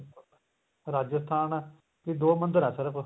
ਰਾਜਸਥਾਨ ਏ ਤੇ ਦੋ ਮੰਦਰ ਆ ਸਿਰਫ